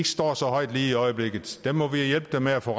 står så højt lige i øjeblikket dem må vi hjælpe dem med at få